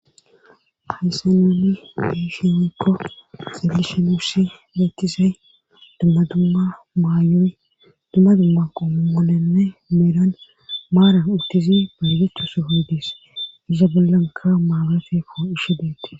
Hayssa noni deishi woekko xelishi nuussi leetisey dumma dumma maayoy dumma dumma qommolenne meeran maaran uttizi baygecho sofodees iza bollanka maabateko ishi deete.